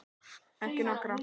Ekki nokkra.